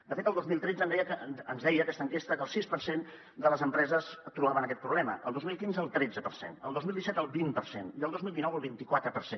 de fet el dos mil tretze ens deia aquesta enquesta que el sis per cent de les empreses trobaven aquest problema el dos mil quinze el tretze per cent el dos mil disset el vint per cent i el dos mil dinou el vint·i·quatre per cent